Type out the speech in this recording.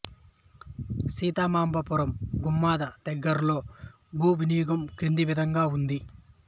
సీతమాంబపురం గుమద దగ్గరలో భూ వినియోగం కింది విధంగా ఉంది